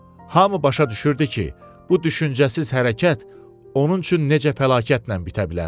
Hamı başa düşürdü ki, bu düşüncəsiz hərəkət onun üçün necə fəlakətlə bitə bilər.